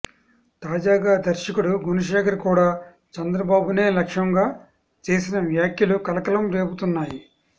తాజాగా దర్శకుడు గుణశేఖర్ కూడా చంద్రబాబునే లక్ష్యంగా చేసిన వ్యాఖ్యలు కలకలం రేపుతున్నాయి